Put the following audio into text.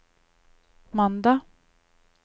mandag